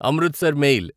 Amritsar mail